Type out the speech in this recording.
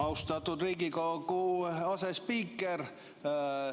Austatud Riigikogu asespiiker!